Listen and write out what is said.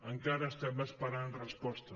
encara estem esperant resposta